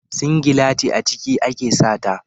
Singilati a ciki ake sa ta.